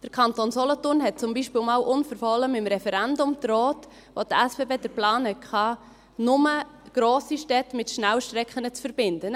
Der Kanton Solothurn drohte zum Beilspiel einmal unverhohlen mit dem Referendum, als die SBB den Plan hatten, nur grosse Städte mit Schnellstrecken zu verbinden.